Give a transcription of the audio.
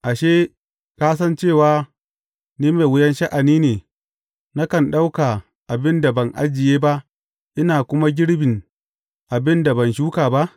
Ashe, ka san cewa ni mai wuyan sha’ani ne, nakan ɗauka abin da ban ajiye ba, ina kuma girbin abin da ban shuka ba?